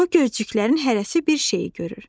Bu gözcüklərin hərəsi bir şeyi görür.